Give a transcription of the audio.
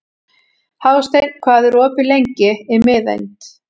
Hásteinn, hvað er opið lengi í Miðeind?